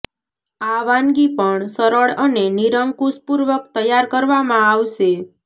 આ વાનગી પણ સરળ અને નિરંકુશપૂર્વક તૈયાર કરવામાં આવે છે